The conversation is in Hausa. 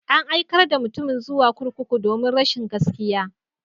An aikar da mutumin zuwa kurkuku domin rashin gaskiya.